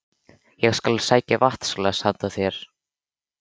Ég skal sækja vatnsglas handa þér